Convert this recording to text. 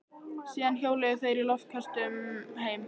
Síðan hjóluðu þeir í loftköstum heim.